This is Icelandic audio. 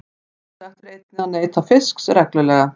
Sjálfsagt er einnig að neyta fisks reglulega.